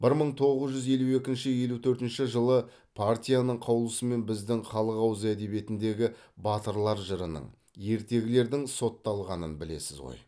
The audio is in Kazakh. бір мың тоғыз жүз елу екінші елу төртінші жылы партияның қаулысымен біздің халық ауыз әдебиетіндегі батырлар жырының ертегілердің сотталғанын білесіз ғой